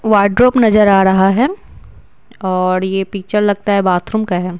Wardrobe नजर आ रहा है और ये पिक्चर लगता है बाथरूम का है।